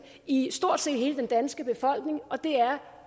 i stort set hele den danske befolkning og det er